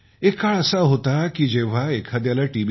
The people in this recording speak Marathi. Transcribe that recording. एक काळ असा होता जेव्हा एखाद्याला टी